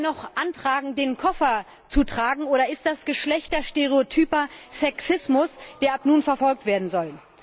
er ihr noch antragen, ihren Koffer zu tragen oder ist das geschlechterstereotyper Sexismus, der ab nun verfolgt werden soll?